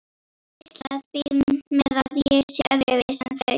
Þau hvísla því með að ég sé öðruvísi en þau.